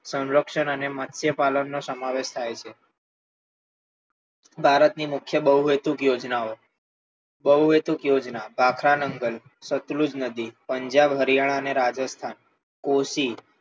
સંરક્ષણ અને મત્સ્ય પાલન નો સમાવેશ થાય છે ભારતની મુખ્ય બહુહેતુક યોજનાઓ બહુહેતુક યોજના ભાખરાનગર સંતલુંજ નદી પંજાબ હરિયાણા અને રાજસ્થાન કોશી